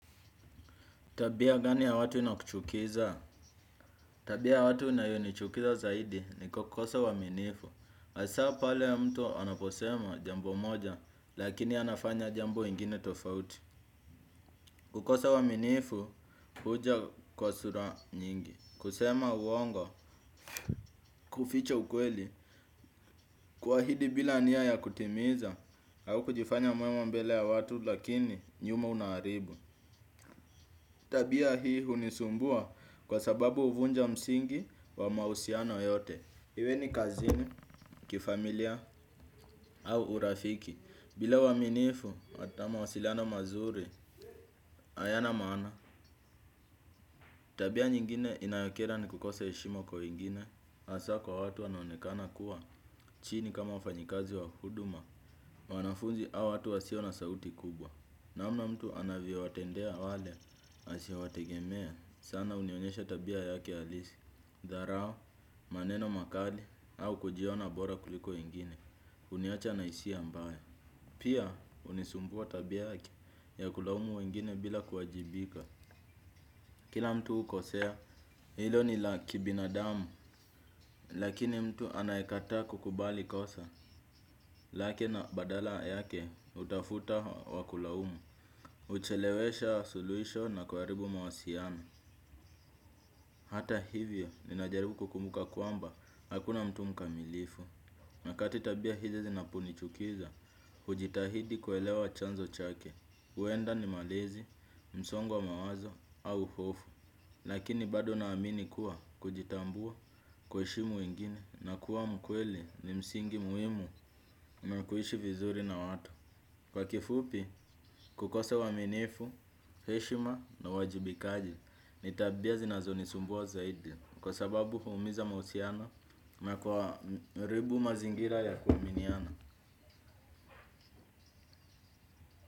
Tabia gani ya watu inakuchukiza? Tabia ya watu inayonichukiza zaidi ni kukosa uaminifu. Hasa pale ya mtu anaposema jambo moja, lakini anafanya jambo ingine tofauti. Kukosa uaminifu, huja kwa sura nyingi. Kusema uongo, kuficha ukweli, kuahidi bila nia ya kutimiza, au kujifanya mwema mbele ya watu, lakini nyuma unaharibu. Tabia hii hunisumbua kwa sababu huvunja msingi wa mahusiano yote. Iwe ni kazini, kifamilia, au urafiki. Bila uaminifu, hata mawasiliana mazuri hayana maana. Tabia nyingine inayokera ni kukosa heshima kwa wengine. Hasa kwa watu wanonekana kuwa, chini kama wafanyikazi wa huduma, wanafunzi au watu wasio na sauti kubwa. Namna mtu anavyowatendea wale, asiowategemea sana hunionyesha tabia yake halisi. Dharau, maneno makali au kujiona bora kuliko wengine. Huniacha na hisia mbaya. Pia hunisumbua tabia ya kulaumu wengine bila kuwajibika. Kila mtu hukosea hilo ni la kibinadamu. Lakini mtu anayekataa kukubali kosa lake na badala yake hutafuta wa kulaumu. Huchelewesha suluhisho na kuharibu mawasiliano. Hata hivyo, ninajaribu kukumbuka kwamba hakuna mtu mkamilifu. Nyakati tabia hizi zinaponichukiza hujitahidi kuelewa chanzo chake. Huenda ni malezi, msongo wa mawazo au hofu. Lakini bado naamini kuwa kujitambua kuheshimu wengine na kuwa mkweli ni msingi muhimu na kuishi vizuri na watu. Kwa kifupi, kukosa uaminifu, heshima na uwajibikaji. Ni tabia zinazonisumbua zaidi kwa sababu huumiza mahusiano na kuharibu mazingira ya kuaminiana.